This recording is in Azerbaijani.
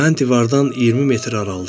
Mən divardan 20 metr aralıdaydım.